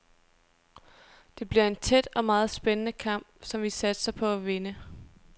Det bliver en tæt og meget spændende kamp, som vi satser på at vinde.